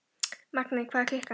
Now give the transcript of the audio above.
Magney, hvað er klukkan?